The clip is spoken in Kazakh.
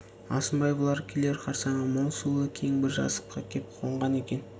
алшынбай бұлар келер қарсаңға мол сулы кең бір жазыққа кеп қонған екен